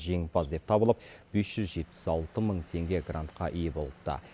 жеңімпаз деп табылып бес жүз жетпіс алты мың теңге грантқа ие болыпты